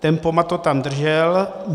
Tempomat to tam držel.